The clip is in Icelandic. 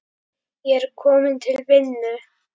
Ég er kominn til vinnu.